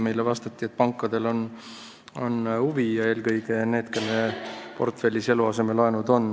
Meile vastati, et pankadel on huvi, eelkõige neil, kelle portfellis on eluasemelaenud.